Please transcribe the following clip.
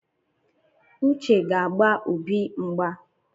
Uche ga-agba Obi mgba